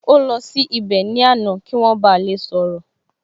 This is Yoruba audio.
Ó lọ sí ibẹ̀ ní àná kí wọ́n ba lè sọ̀rọ̀